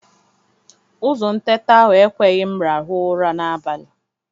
Ụzụ ntete ahụ ekweghi m rahụ ụra n'abalị.